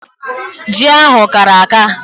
Ji ahụ kara aka.